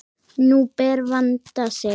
Nú ber að vanda sig!